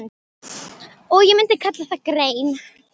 Og ég myndi kalla þá grein